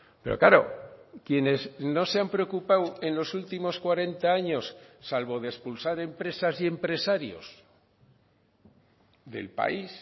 pero claro quienes no se han preocupado en los últimos cuarenta años salvo de expulsar empresas y empresarios del país